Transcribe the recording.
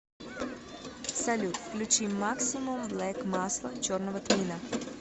салют включи максимум блэк масло черного тмина